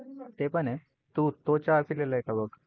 ते पण आहे? तू तो चहा पिली आहे का बघ?